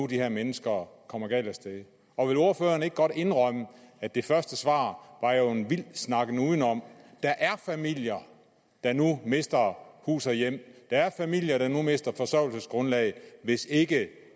de her mennesker kommer galt af sted og vil ordføreren ikke godt indrømme at det første svar var en vild snakken udenom der er familier der nu mister hus og hjem der er familier der nu mister forsørgelsesgrundlag hvis ikke